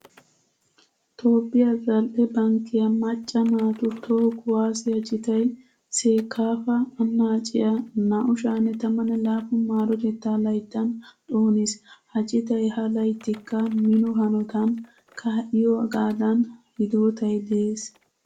Toophphiya zal"e bankkiya macca naatu toho kuwaasiya citay seekaafa annaaciya 2017 maarotettaa layttan xooniis. Ha citay ha layttikka mino hanotan kaa'iyogaadan hidootay de'ees.